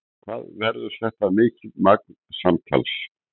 En hvað verður þetta mikið magn samtals?